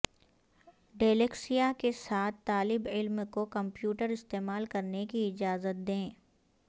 dyslexia کے ساتھ طالب علم کو کمپیوٹر استعمال کرنے کی اجازت دیں